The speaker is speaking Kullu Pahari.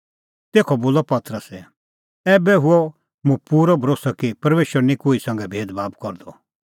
तेखअ बोलअ पतरसै ऐबै हुअ मुंह पूरअ भरोस्सअ कि परमेशर निं कोही संघै भेदभाब करदअ